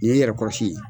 Nin ye n yɛrɛ kɔrɔsi ye